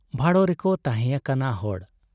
ᱵᱷᱟᱲᱚ ᱨᱮᱠᱚ ᱛᱟᱦᱮᱸ ᱟᱠᱟᱱᱟ ᱦᱚᱲ ᱾